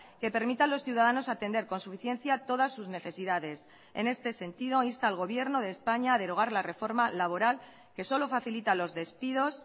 que permita a los ciudadanos atender con suficiencia todas sus necesidades en este sentido insta al gobierno de españa a derogar la reforma laboral que solo facilita los despidos